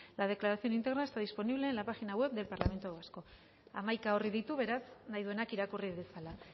la declaración íntegra está disponible en la página web del parlamento vasco hamaika orri ditu beraz nahi duenak irakurri dezala